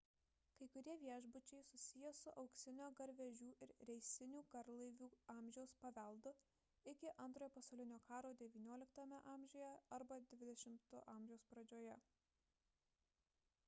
kai kurie viešbučiai susiję su auksinio garvežių ir reisinių garlaivių amžiaus paveldu iki antrojo pasaulinio karo xix a arba xx a pradžioje